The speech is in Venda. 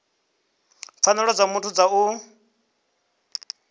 pfanelo dza muthu dza u